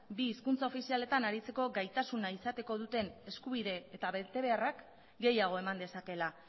bi hizkuntza ofizialetan aritzeko gaitasuna izateko duten eskubide eta betebeharrak gehiago eman dezakeela